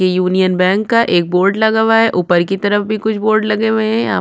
ये union bank का एक बोर्ड लगा हुआ हैं उपर की तरफ भी कुछ बोर्ड लगे हुये है यहाँ पे --